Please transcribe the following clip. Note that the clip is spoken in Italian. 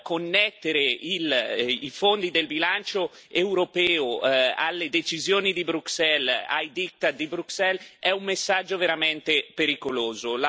Connettere i fondi del bilancio europeo alle decisioni di Bruxelles, ai diktat di Bruxelles, è un messaggio veramente pericoloso.